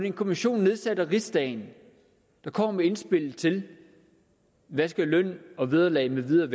en kommission nedsat af rigsdagen der kommer med indspillet til hvad løn og vederlag med videre